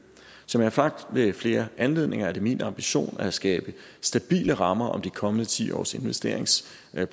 som jeg har sagt ved flere anledninger er det min ambition at skabe stabile rammer om de kommende ti års investeringsplan